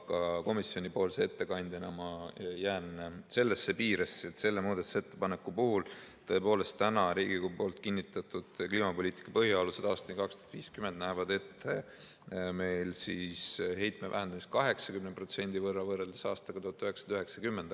Aga komisjoni ettekandjana ma jään neisse piiresse, et selle muudatusettepaneku puhul tõepoolest Riigikogu poolt kinnitatud "Kliimapoliitika põhialused aastani 2050" näevad ette heitme vähendamise 80% võrra võrreldes aastaga 1990.